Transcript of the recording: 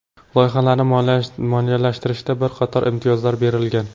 Loyihalarni moliyalashtirishda bir qator imtiyozlar berilgan.